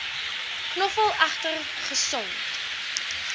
knoffel egter gesond